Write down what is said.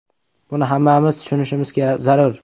Buni hammamiz tushunishimiz zarur.